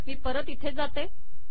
मी परत इथे जाते